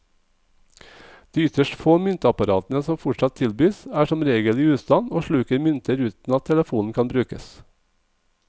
De ytterst få myntapparatene som fortsatt tilbys, er som regel i ustand og sluker mynter uten at telefonen kan brukes.